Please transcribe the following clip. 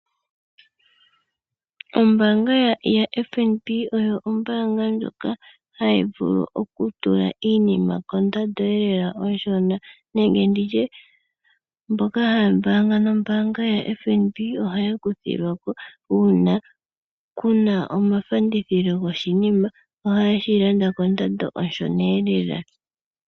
Ombaanga yaFNB oyo ombaanga ndjoka hayi vulu okutula iinima kondando yi li pevi lela nenge mboka haya mbaanga nombaanga yaFNB ohaya kuthilwa ko. Uuna ku na ofanditha yoshinima ohaye shi landa kondando onshona lela.